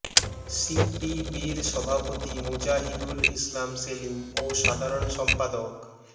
সিপিবির সভাপতি মুজাহিদুল ইসলাম সেলিম ও সাধারণ সম্পাদক মো